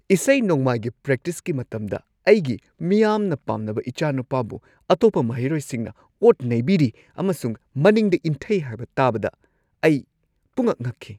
ꯏꯁꯩ-ꯅꯣꯡꯃꯥꯏꯒꯤ ꯄ꯭ꯔꯦꯛꯇꯤꯁꯀꯤ ꯃꯇꯝꯗ ꯑꯩꯒꯤ ꯃꯤꯌꯥꯝꯅ ꯄꯥꯝꯅꯕ ꯏꯆꯥꯅꯨꯄꯥꯕꯨ ꯑꯇꯣꯞꯄ ꯃꯍꯩꯔꯣꯏꯁꯤꯡꯅ ꯑꯣꯠ-ꯅꯩꯕꯤꯔꯤ ꯑꯃꯁꯨꯡ ꯃꯅꯤꯡꯗ ꯏꯟꯊꯩ ꯍꯥꯏꯕ ꯇꯥꯕꯗ ꯑꯩ ꯄꯨꯡꯉꯛ-ꯉꯛꯈꯤ꯫